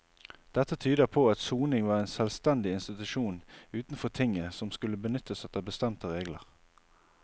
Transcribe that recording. Dette tyder på at soning var en selvstendig institusjon utenfor tinget som skulle benyttes etter bestemte regler.